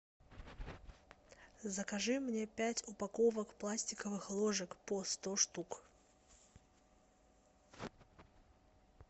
закажи мне пять упаковок пластиковых ложек по сто штук